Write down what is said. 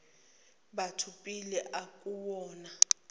batho pele akuwona